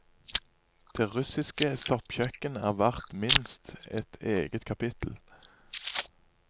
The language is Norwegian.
Det russiske soppkjøkken er verd minst et eget kapittel.